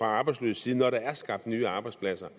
arbejdsløses side når der er skabt nye arbejdspladser